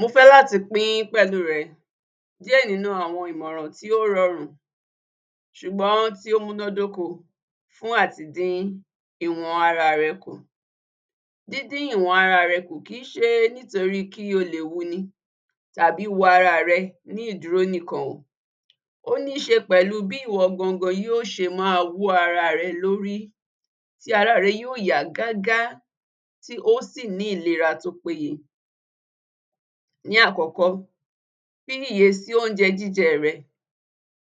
Mo fẹ́ láti pín pẹ̀lú rẹ, díẹ̀ nínú àwọn ìmọ̀ràn tí ó rọrùn sùgbọ́n tí ó mú ná dóko fún àti dí ìwọ̀n ara rẹ kù, dídí ìwọn ara re kù kì í ṣe nítorí kí o lè wuni tàbí wu ara rẹ ní ìdúró nìkan, ó níṣe pẹ̀lú bí ìwọ gangan yó ṣe má wú ara rẹ lórí tí ara rẹ yóò yá gágá, tí ó sì ní ìlera tí ó péye. Ní àkọ́kọ́, fi ìyè sí oúnjẹ jíjẹ re,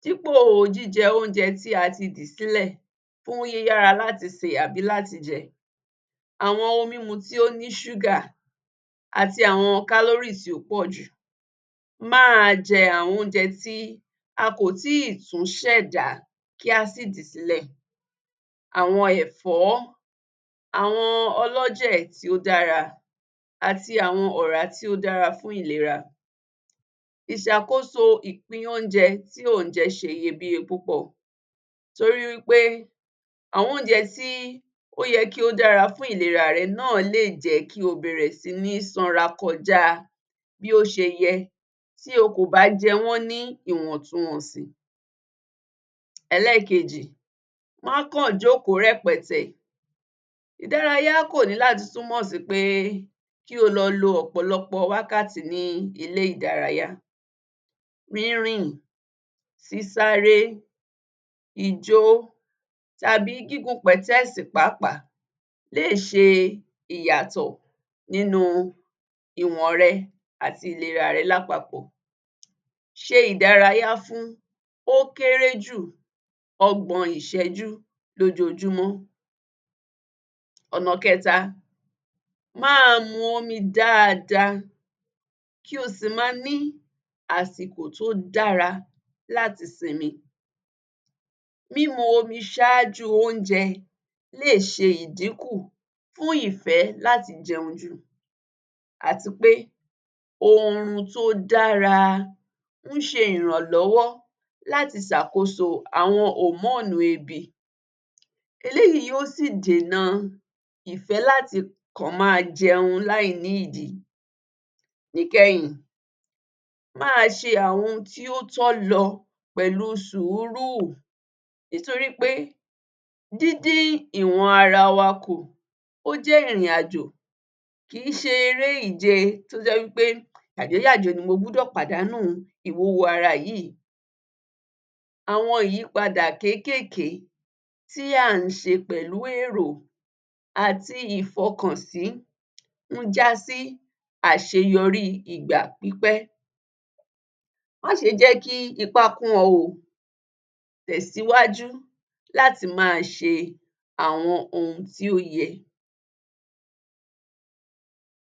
dípò jíjẹ oúnje tí a ti dì sílẹ̀ fún yíyára láti sè tàbí láti jẹ àwọn ohun mímu tó ní súgà àti àwọn kálórísì tó pọ̀ jù má à á jẹ àwọn oúnjẹ tí a kò tí tún sẹ̀dá kí á sí dì sílẹ̀, àwọn ẹ̀fọ́, àwọn ọlọ́jẹ̀ tó dára àti àwọn ọ̀rá tí ó dára fún ìlera, ìsàkóso ìpín oúnjẹ tí ó jẹ se iyebíye púpọ̀ torí wí pé àwọn oúnjẹ tí ó ye kí ó dára fún ìlera rẹ náà lè jẹ́ kí o bẹ̀rẹ̀ sí ní sanra kọjá bí ó ti yẹ lọ bí o kò bá jẹ wọ́n ní ìwọ̀túnwọnsì. Ẹlẹ́kejì, má kàn jóòkó rẹ̀pẹ̀tẹ̀, ìdárayá kò ní láti túnmọ̀ sí pé kí o lọ lo ọ̀pọ̀lọpọ̀ wákàtí ní ilé ìdárayá ríràn, sísáré, ijó tàbí gígun pẹ̀tẹ́ẹ̀sì pàápàá lé è ṣe ìyàtọ̀ nínú ìwọǹ rẹ àti ìlera rẹ lápapọ̀ ṣe ìdárayá fún ó kéré jù ọgbọ̀n ìsẹ́jú lójojúmọ́, ọ̀nà kẹta má mu omi dáadáa kí o sì ma ní àsìkò tó dára láti simi mímu omi sájú oúnjẹ lé è ṣe ìdíkù fún ìfẹ́ láti jẹun jù àti pé ohun tó dára ń se ìrànlọ́wọ́ láti sàkóso àwọn hormonu ebi eléyí yóo sì dènà ìfẹ́ láti kàn ma jẹun lá ì ní ìdí, níkẹyìn má ṣe àwọn ohun tí ó tọ́ lọ pẹ̀lú sùúrù nítorípé dídí ìwọ̀n ara wa kù ó jẹ́ ìrìnàjò kì í ṣe ere ìje tó jẹ́ wí pé mo gbúdọ̀ pàdánù ìwúwo ara yí àwọn ìyípadà kékèké tí à á ṣe pẹ̀lú èrò àti ìfọkànsí ń jásí àṣeyorí ìgbà pípẹ́ máṣe jẹ́ kí ipá kún ọ ò tèsíwájú láti má a ṣe àwọn ohun tí ó yẹ.